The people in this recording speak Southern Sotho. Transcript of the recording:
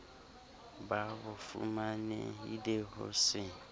ba bofumanehi le ho se